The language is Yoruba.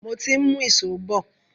Mo ti ń mú ìṣó bọ̀.